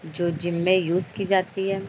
जो जिम में यूज की जाती है।